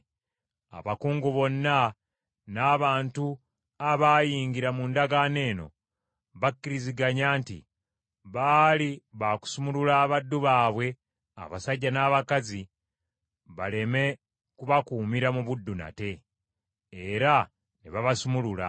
Abakungu bonna n’abantu abaayingira mu ndagaano eno bakkiriziganya nti baali bakusumulula abaddu baabwe abasajja n’abakazi baleme kubakuumira mu buddu nate. Era ne babasumulula.